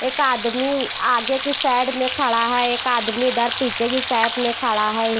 एक आदमी उ आगे के साइड में खड़ा है एक आदमी इधर पीछे की साइड में खड़ा है।